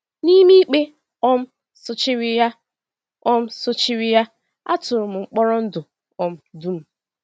N’ime ikpe um sochiri ya, um sochiri ya, a tụrụ m mkpọrọ ndụ um dum.